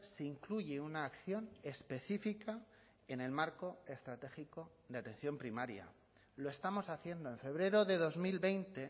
se incluye una acción específica en el marco estratégico de atención primaria lo estamos haciendo en febrero de dos mil veinte